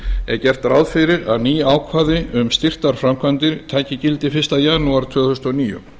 er gert ráð fyrir að ný ákvæði um styrktarframkvæmdir taki gildi fyrsta janúar tvö þúsund og níu